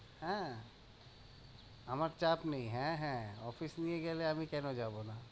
হ্যাঁ আমার চাপ নেই, হ্যাঁ হ্যাঁ office নিয়ে গেলে আমি কেন যাবো না?